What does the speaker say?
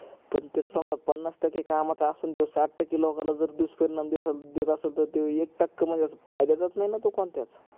पण तेत समजा पन्नास टक्के कामाचा असण त्यो साठ टक्के लोकाला जर दुसपरिणाम देत असल तर ते एक टक्क म्हणजे अस फायद्याच न नाही तो कोणत्याच